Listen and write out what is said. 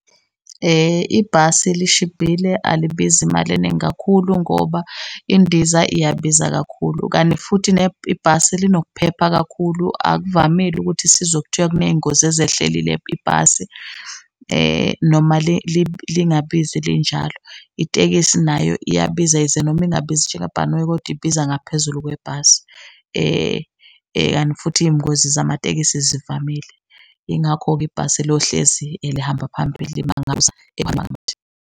Ibhasi lishibhile alibizi imali eningi kakhulu ngoba indiza iyabiza kakhulu, kani futhi ibhasi linokuphepha kakhulu. Akuvamile ukuthi sizwe kuthiwa kuney'ngozi ezehlelile ibhasi noma lingabizi linjalo. Itekisi nayo iyabiza yize noma ingabizi njengebhanoyi kodwa ibiza ngaphezulu kwebhasi, kanti futhi iy'ngozi zamatekisi zivamile. Yingakho-ke ibhasi lohlezi lihamba phambili .